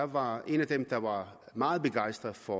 var en af dem der var meget begejstret for